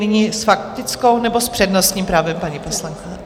Nyní s faktickou, nebo s přednostním právem, paní poslankyně?